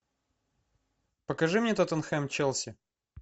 покажи мне тоттенхэм челси